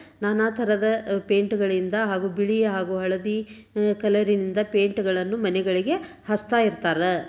ನಾನಾ ತರದ ಪೈಂಟ್ ಗಳಿಂದ ಹಾಗೂ ಬಿಳಿಯ ಹಾಗೂ ಹಳದಿ ಕಲರ ನಿಂದ ಪೈಂಟ್ ಗಳನ್ನು ಮನೆಗಗೆ ಹಚ್ತಾ ಇರ್ತಾರ.